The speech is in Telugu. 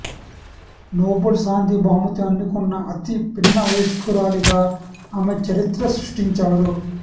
నోబెల్ శాంతి బహుమతి అందుకున్న అతి పిన్నవయస్కురాలిగా ఆమె చరిత్ర సృష్టించారు